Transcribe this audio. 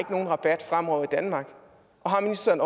rabat fremover i danmark og har ministeren